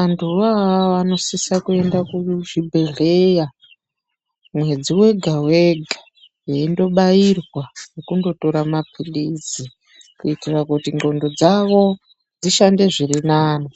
Antuvo ivavo vanosisa kuenda kuzvibhedhleya mwedzi wega-wega veindobairwa nekundotora maphilizi kuitira kuti ndxondo dzavo dzishande zvirinani.